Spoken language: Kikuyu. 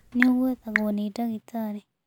Nĩ ũgwethagwo nĩ ndagitarĩ.